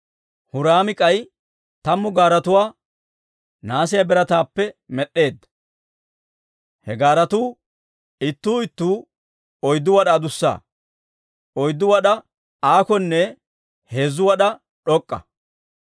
Huraami k'ay tammu gaaretuwaa nahaasiyaa birataappe med'd'eedda. He gaaretuu ittuu ittuu oyddu wad'aa adussa; oyddu wad'aa aakonne heezzu wad'aa d'ok'k'a.